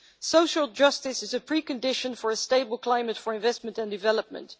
Social justice is a precondition for a stable climate for investment and development.